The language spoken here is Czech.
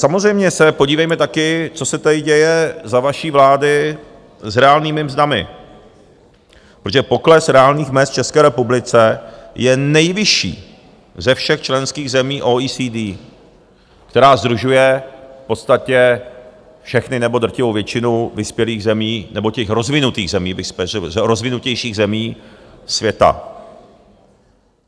Samozřejmě se podívejme také, co se tady děje za vaší vlády s reálnými mzdami, protože pokles reálných mezd v České republice je nejvyšší ze všech členských zemí OECD, která sdružuje v podstatě všechny nebo drtivou většinu vyspělých zemí nebo těch rozvinutých zemí, rozvinutějších zemí světa.